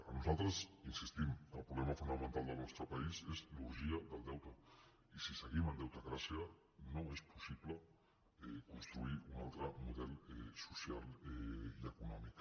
per nosaltres hi insistim el problema fonamental del nostre país és l’orgia del deute i si seguim en deutecràcia no és possible construir un altre model social i econòmic